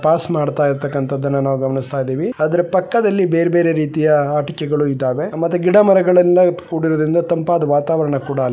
pass ಮಾಡ್ತಾ ಇರ್ತಕ್ಕಂತದನ್ನ ನಾವು ಗಮನಿಸ್ತಾ ಇದ್ದೀವಿ ಅದರ ಪಕ್ಕದಲ್ಲಿ ಬೇರೆ ರೀತಿಯ ಆಟಿಕೆಗಳು ಇದ್ದಾವೆ ಮತ್ತೆ ಗಿಡಮರಗಳೆಲ್ಲ ಕೂಡಿರುವುದರಿಂದ ತಂಪಾದ ವಾತಾವರಣ ಕೂಡ ಅಲ್ಲಿ --